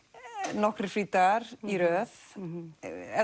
nokkrir frídagar í röð ef